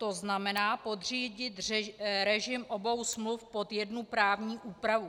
To znamená podřídit režim obou smluv pod jednu právní úpravu.